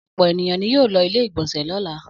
Ọ̀pọ̀ ènìyàn ni yóò lo ilé-ìgbọnsẹ̀ lọ́la.